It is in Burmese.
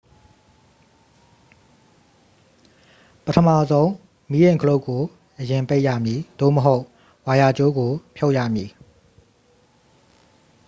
ပထမဆုံး မီးအိမ် ခလုတ်ကို အရင်ပိတ်ရမည် သို့မဟုတ် ဝါယာကြိုးကို ဖြုတ်ရမည်